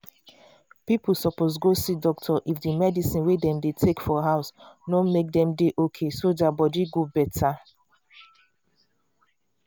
people suppose go see doctor if the medicine wey dem dey take for house no make dem dey okayso dia body go better